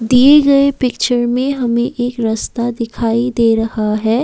दिए गए पिक्चर में हमें एक रस्ता दिखाई दे रहा है।